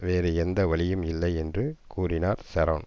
வேறு எந்த வழியும் இல்லை என்று கூறினார் ஷரோன்